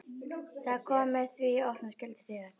Það kom mér því í opna skjöldu þegar